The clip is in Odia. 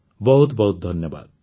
ବହୁତ ବହୁତ ଧନ୍ୟବାଦ